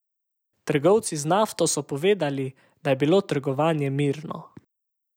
Trgovci z nafto so povedali, da je bilo trgovanje mirno.